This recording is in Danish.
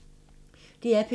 DR P2